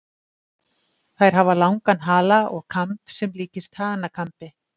Þær hafa langan hala og kamb sem líkist hanakambi.